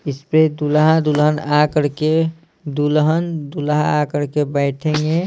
इस पे दुल्हा दुल्हन आ कर के दुल्हन दुल्हा आ कर के बैठेंगे।